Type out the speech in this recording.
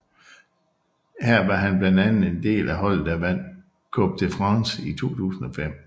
Her var han blandt andet en del af holdet der vandt Coupe de France i 2005